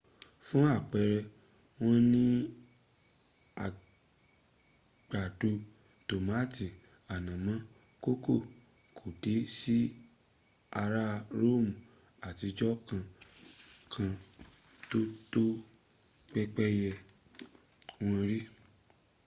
fún àpẹrẹ wọn ò ní àgbàdo tomato ànàmọ́ kòkó kò dẹ̀ sí ará roomu àtijọ́ kan kan tó tọ́ pẹ́pẹ́yẹ wò rí